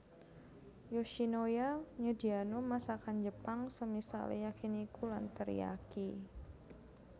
Yoshinoya nyediano masakan Jepang semisale yakiniku lan teriyaki